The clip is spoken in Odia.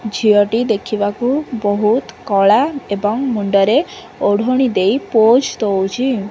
ଝିଅଟି ଦେଖିବାକୁ ବହୁତ୍ କଳା ଏବଂ ମୁଣ୍ଡରେ ଓଢଣି ଦେଇ ପୋଜ୍ ଦଉଛି।